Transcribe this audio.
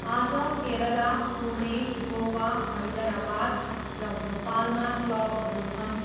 आज केरला, पुणे, गोवा, हैदरावाद र भोपालमा क्लबहरू छन्।